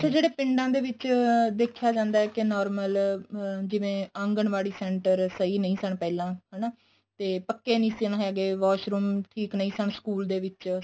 ਅੱਛਾ ਜਿਹੜੇ ਪਿੰਡਾਂ ਦੇ ਵਿੱਚ ਦੇਖਿਆ ਜਾਂਦਾ ਏ ਕੇ normal ਜਿਵੇਂ ਆਗਨਵਾੜੀ center ਸਹੀਂ ਨਹੀਂ ਸਨ ਪਹਿਲਾਂ ਹਨਾ ਤੇ ਪੱਕੇ ਨਹੀਂ ਸਨ ਹੈਗੇ washroom ਠੀਕ ਨਹੀਂ ਸਨ school ਦੇ ਵਿੱਚ